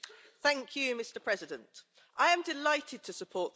Mr President, I am delighted to support this report.